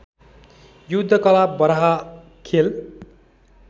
युद्धकला बराह खेल